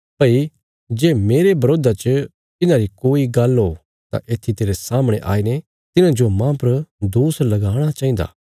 भई जे मेरे बरोधा च तिन्हारी कोई गल्ल हो तां येत्थी तेरे सामणे आईने तिन्हांजो माह पर दोष लगाणा चाहिन्दा